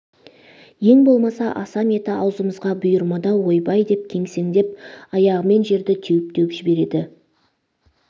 ең болмаса асам еті аузымызға бұйырмады-ау ойбай деп кемсеңдеп аяғымен жерді теуіп-теуіп жібереді